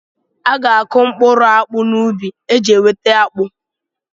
A ga-akụ okporo akpụ n'ubi iji nweta akpụ.